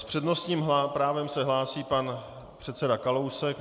S přednostním právem se hlásí pan předseda Kalousek.